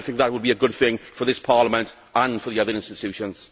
I think that would be a good thing for this Parliament and for the other institutions.